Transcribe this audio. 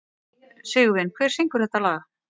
Sigurvin, hver syngur þetta lag?